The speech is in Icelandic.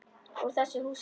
Úr þessu húsi óttans.